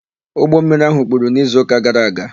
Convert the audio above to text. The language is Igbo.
Ụgbọmmiri áhụ̀ kpuru n'izuụka gara aga.